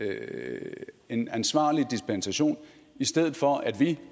er en ansvarlig dispensation i stedet for at vi